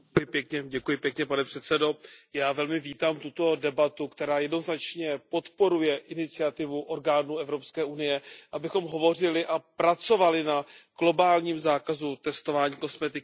Pane předsedající, já velmi vítám tuto debatu, která jednoznačně podporuje iniciativu orgánů Evropské unie, abychom hovořili a pracovali na globálním zákazu testování kosmetiky na zvířatech.